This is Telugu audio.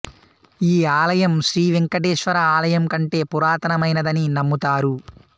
ఈ ఆలయం శ్రీ వెంకటేశ్వర ఆలయం కంటే పురాతనమైనదని నమ్ముతారు